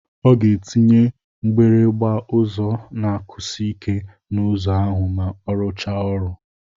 Ọ ga-etinye mgbịrịgba ụzọ na-akụsi ike n'ụzọ ahụ ma ọ rụchaa ọrụ.